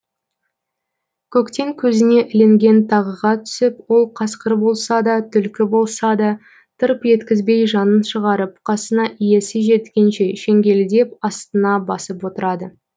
көктен көзіне ілінген тағыға түсіп ол қасқыр болса да түлкі болса да тырп еткізбей жанын шығарып қасына иесі жеткенше шеңгелдеп астына басып отырады